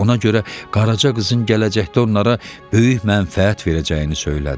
Ona görə Qaraca qızın gələcəkdə onlara böyük mənfəət verəcəyini söylədi.